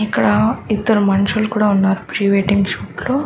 ఇక్కడ ఇద్దరు మనుషులు కూడా ఉన్నారు ప్రీ వెడ్డింగ్ షూట్ లో --